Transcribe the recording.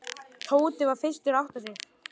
Tóti var fyrstur að átta sig.